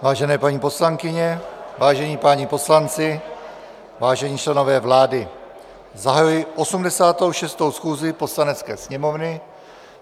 Vážené paní poslankyně, vážení páni poslanci, vážení členové vlády, zahajuji 86. schůzi Poslanecké sněmovny.